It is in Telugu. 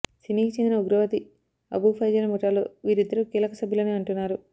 సిమీకి చెందిన ఉగ్రవాది అబూ ఫైజల్ ముఠాలో వీరిద్దరు కీలక సభ్యులని అంటున్నారు